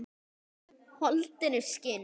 Holdinu skinn.